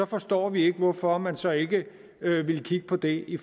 forstår vi ikke hvorfor man så ikke ville kigge på det i